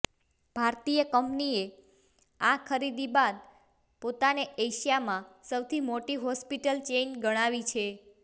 ભારતીય કંપનીએ આ ખરીદી બાદ પોતાને એશિયામાં સૌથી મોટી હોસ્પિટલ ચેઇન ગણાવી છે